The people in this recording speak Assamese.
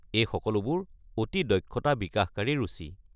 এই সকলোবোৰ অতি দক্ষতা বিকাশকাৰী ৰুচি।